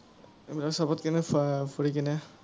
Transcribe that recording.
উম চৱত কিনে, আহ ফুৰি পিনে,